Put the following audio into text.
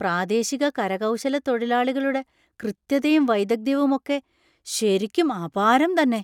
പ്രാദേശിക കരകൗശലത്തൊഴിലാളികളുടെ കൃത്യതയും വൈദഗ്ധ്യവും ഒക്കെ ശരിക്കും അപാരം തന്നെ.